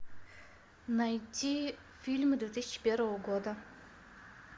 найти фильмы две тысячи первого года